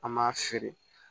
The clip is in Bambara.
An m'a feere